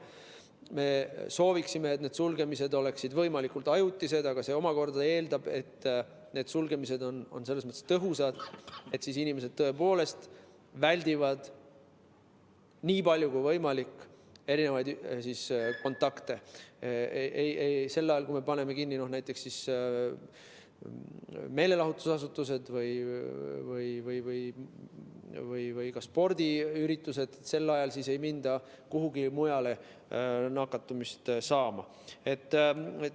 Me sooviksime, et need sulgemised oleksid võimalikult ajutised, aga see omakorda eeldab, et need sulgemised oleksid selles mõttes tõhusad, et inimesed tõepoolest väldiksid nii palju kui võimalik kontakte, et sel ajal, kui me paneme kinni näiteks meelelahutusasutused või keelame spordiüritused, ei mindaks kuhugi mujale nakkust saama.